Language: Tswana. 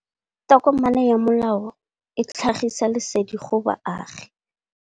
Tokomane ya molao ke tlhagisi lesedi go baagi.